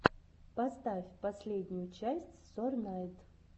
поставь последнюю часть сорнайд